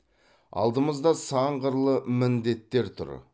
алдымызда сан қырлы міндеттер тұр